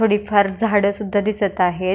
थोडी फार झाड सुध्दा दिसत आहेत.